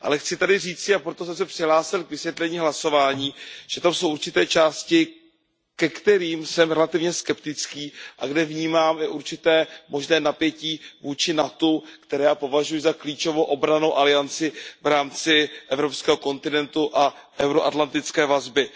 Ale chci tady říci, a proto jsem se přihlásil k vysvětlení hlasování, že tam jsou určité části, ke kterým jsem relativně skeptický a ve kterých vnímám určité možné napětí vůči NATO, které já považuji za klíčovou obrannou alianci v rámci evropského kontinentu a euroatlantické vazby.